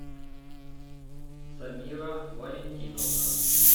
самира валентиновна